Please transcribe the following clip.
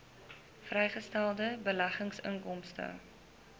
vrygestelde beleggingsinkomste